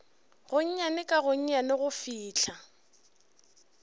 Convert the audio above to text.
gonnyane ka gonnyane go fihla